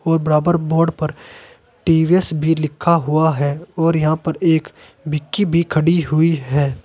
और बराबर बोर्ड पर टी_वी_एस भी लिखा हुआ है और यहां पर एक विक्की भी खड़ी हुई है।